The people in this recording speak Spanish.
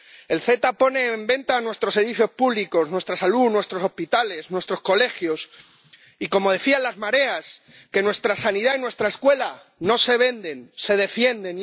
El CETA pone en venta nuestros servicios públicos, nuestra salud, nuestros hospitales, nuestros colegios y, como decían las mareas, nuestra sanidad y nuestra escuela no se venden, se defienden.